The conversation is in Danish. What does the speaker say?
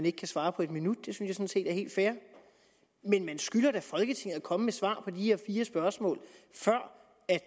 ikke kan svare på en minut det synes jeg sådan set er helt fair men man skylder da folketinget at komme med svar på de her fire spørgsmål før